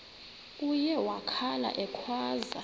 uye wakhala ekhwaza